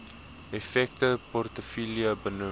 effekte portefeulje benoem